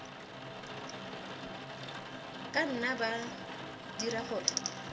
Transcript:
ka nna ba dira gore